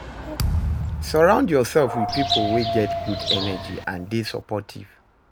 Surround yourself with pipo wey get good energy and de supportive